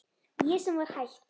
Ég sem var hætt.